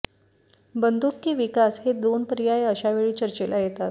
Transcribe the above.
बंदूक की विकास हे दोन पर्याय अशावेळी चर्चेला येतात